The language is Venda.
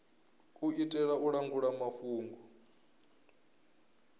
u itela u langula mafhungo